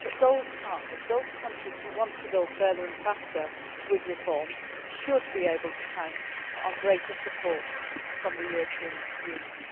more for more that those partners, those countries who want to go further and faster with reforms, should be able to count on greater support from the